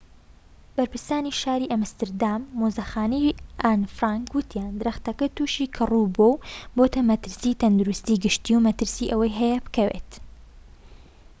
بەرپرسانی شاری ئەمستەردام و مۆزەخانەی ئان فرانک وتیان درەختەکە توشی کەڕوو بووە و بۆتە مەترسیی تەندروستی گشتی و مەترسی ئەوەی هەیە بکەوێت